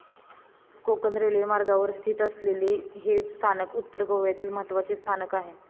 Konkan railway मार्गावर स्थित असलेले हे स्थानक उत्तर गोव्यातील महत्वाचे स्थानक आहे.